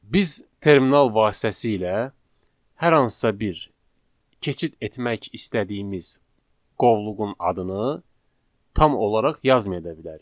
Biz terminal vasitəsilə hər hansısa bir keçid etmək istədiyimiz qovluğun adını tam olaraq yazmaya da bilərik.